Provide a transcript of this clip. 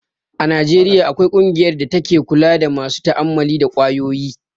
A Najeriya akwai ƙungiyar da take kula da masu ta'ammali da kwayoyi